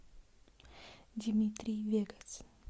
димитрий вегас